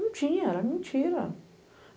Não tinha, era mentira.